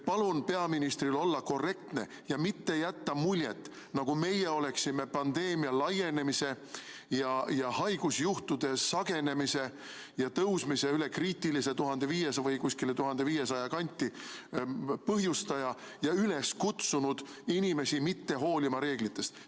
Palun peaministril olla korrektne ja mitte jätta muljet, nagu meie oleksime pandeemia laienemise ja haigusjuhtude sagenemise ja tõusmise üle kriitilise 1500 või kuskile 1500 kanti põhjustaja ja üles kutsunud inimesi mitte hoolima reeglitest.